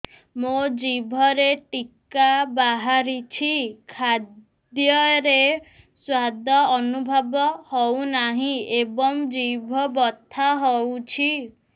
ମୋ ଜିଭରେ କିଟା ବାହାରିଛି ଖାଦ୍ଯୟରେ ସ୍ୱାଦ ଅନୁଭବ ହଉନାହିଁ ଏବଂ ଜିଭ ବଥା ହଉଛି